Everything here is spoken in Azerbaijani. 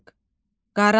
Qaranlıq.